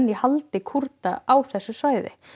í haldi Kúrda á þessu svæði